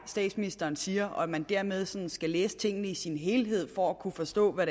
statsministeren siger og at man dermed sådan skal læse tingene i sin helhed for at kunne forstå hvad